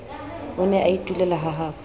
o ne a itulela hahabo